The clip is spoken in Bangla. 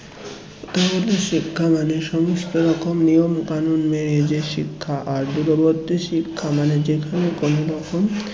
প্রথাগত শিক্ষা মানে সমস্ত রকম নিয়মকানুন মেয়েদের শিক্ষা আর দূরবর্তী শিক্ষা মানে যেখানে কোনরকম